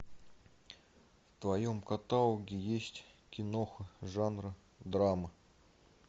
в твоем каталоге есть киноха жанра драма